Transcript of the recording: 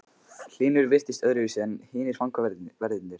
Hlynur virtist öðruvísi en hinir fangaverðirnir.